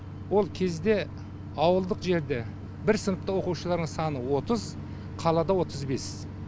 ол кезде ауылдық жерде бір сыныпта оқушылардың саны отыз қалада отыз бес